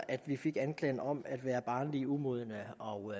at vi fik anklagen om at være barnlige og umodne og